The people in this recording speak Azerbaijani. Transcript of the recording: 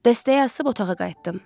Dəstəyi asıb otağa qayıtdım.